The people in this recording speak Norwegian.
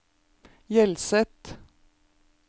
Hjelset